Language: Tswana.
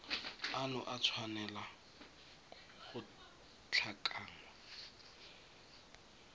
ano a tshwanela go tlhakanngwa